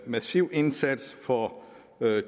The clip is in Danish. massiv indsats for